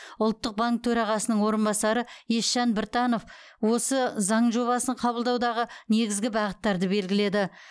ұлттық банк төрағасының орынбасары есжан біртанов осы заң жобасын қабылдаудағы негізгі бағыттарды белгіледі